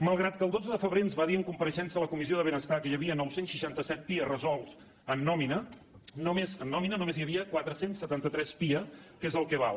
malgrat que el dotze de febrer ens va dir en compareixença a la comissió de benestar que hi havia nou cents i seixanta set pia resolts en nòmina en nòmina només hi havia quatre cents i setanta tres pia que és el que val